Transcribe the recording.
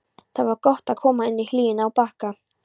Það var gott að koma inn í hlýjuna á Bakka.